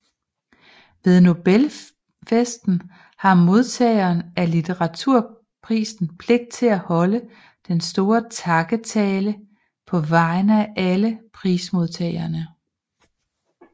Ved Nobelfesten har modtageren af litteraturprisen pligt til at holde den store takketale på vegne af alle prismodtagerne